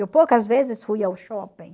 Eu poucas vezes fui ao shopping.